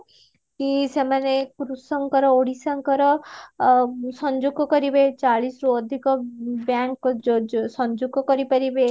କି ସେମାନେ କୃଷଙ୍କର ଓଡିଶାଙ୍କର ସଂଯୋଗ କରିବେ ଚାଳିଶରୁ ଅଧିକ ବ୍ୟାଙ୍କ ଯୋଜ ସଂଯୋଗ କରିପାରିବେ